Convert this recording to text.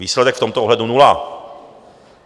Výsledek v tomto ohledu nula.